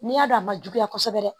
N'i y'a dɔn a ma juguya kosɛbɛ